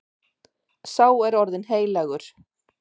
Sá er orðinn heilagur.